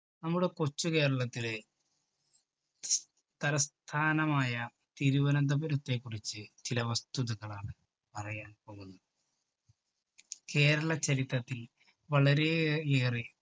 നമ്മുടെ കൊച്ചു കേരളത്തിലെ തലസ്ഥാനമായ തിരുവനന്തപുരത്തെ കുറിച്ച് ചില വസ്തുതകളാണ് പറയാന്‍ പോകുന്നത്. കേരള ചരിത്രത്തില്‍ വളരെയേ~യേറെ